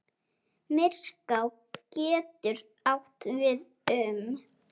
Myrká getur átt við um